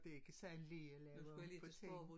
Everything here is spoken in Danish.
Det ikke sådan lige at lave om på tingene